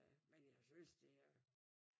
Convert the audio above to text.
Men jeg synes det er